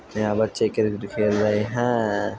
यहाँ बच्चे क्रिकेट खेल रहे है |